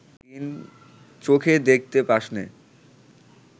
চোখে দেখতে পাসনে